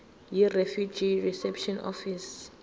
yirefugee reception office